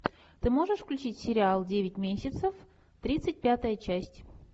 ты можешь включить сериал девять месяцев тридцать пятая часть